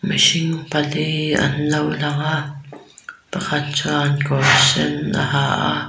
mirhing pali anlo lang a pakhat chuan kawrsen a ha a--